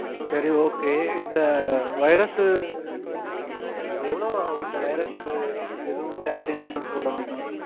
சரி Okay இந்த Virus சு ஹம் அஹ் எவ்வளவு ரூபா ஆகும் இந்த Virus சு இதுவும் Chart Insurance போடணும்ன